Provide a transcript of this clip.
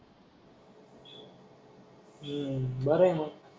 हम्म बर आहे मग.